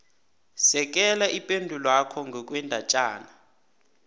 sekela ipendulwakho ngokwendatjana